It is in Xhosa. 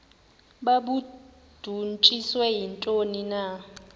babudunjiswe yintoni na